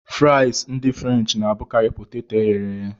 Frịsị ndị frenchị na-abụkarị poteto e ghere eghe.